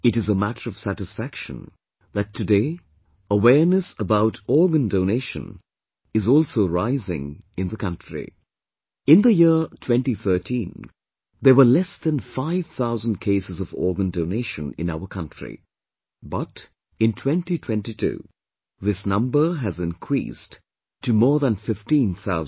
It is matter of satisfaction, that today awareness about Organ Donation is also rising in the country, In the year 2013, there were less than five thousand cases of organ donation in our country; but in 2022, this number has increased to more than fifteen thousand